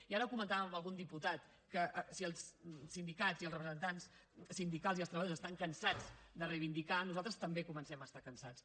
i ara ho comentàvem amb algun diputat que si els sindicats i els representants sindicals i els treballadors estan cansats de reivindicar nosaltres també comencem a estar cansats